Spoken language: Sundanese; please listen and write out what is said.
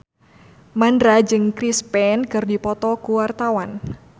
Mandra jeung Chris Pane keur dipoto ku wartawan